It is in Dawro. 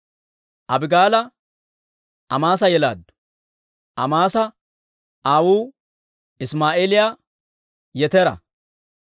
Abigaala Amaasa yelaaddu; Amaasa aawuu Isimaa'eeliyaa Yetera.